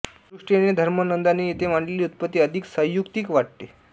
या दृष्टीनें पाहतां धर्मानंदांनी येथे मांडलेली उत्पत्ति अधिक सयुक्तिक वाटते